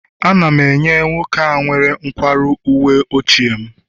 Ana m enye nwoke a nwere nkwarụ uwe ochie m